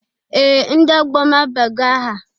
Ee! Ndị ọgbọ m abago aha.